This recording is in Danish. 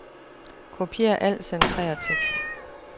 Kopier al centreret tekst.